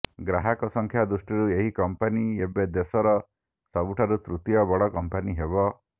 ଗ୍ରାହକ ସଂଖ୍ୟା ଦୃଷ୍ଟିରୁ ଏହି କମ୍ପାନୀ ଏବେ ଦେଶର ସବୁଠାରୁ ତୃତୀୟ ବଡ କମ୍ପାନୀ ହେବ